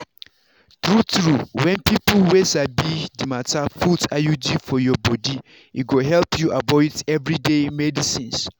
true-true when people wey sabi the matter put iud for your body e go help you avoid everyday medicines